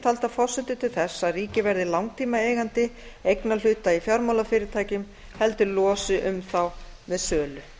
taldar forsendur til þess að ríkið verði langtímaeigandi eignarhluta í fjármálafyrirtækjum heldur losi um þá með sölu